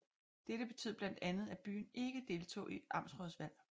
Dette betød blandt andet at byen ikke deltog i amtsrådsvalg